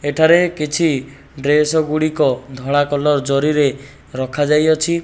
ଏଠାରେ କିଛି ଡ୍ରେସ ଗୁଡିକ ଧଳା କଲର ଜରିରେ ରଖାଯାଇଅଛି।